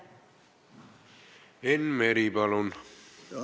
Enn Meri, palun!